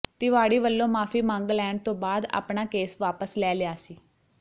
ਤਿਵਾੜੀ ਵੱਲੋਂ ਮਾਫ਼ੀ ਮੰਗ ਲੈਣ ਤੋਂ ਬਾਅਦ ਆਪਣਾ ਕੇਸ ਵਾਪਸ ਲੈ ਲਿਆ ਸੀ